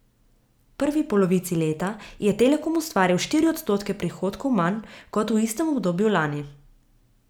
V prvi polovici leta je Telekom ustvaril štiri odstotke prihodkov manj kot v istem obdobju lani.